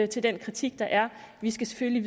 til den kritik der er vi skal selvfølgelig